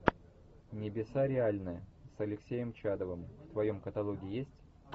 небеса реальны с алексеем чадовым в твоем каталоге есть